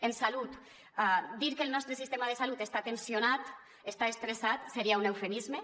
en salut dir que el nostre sistema de salut està tensionat està estressat seria un eufemisme